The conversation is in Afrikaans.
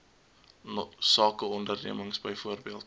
sake ondernemings byvoorbeeld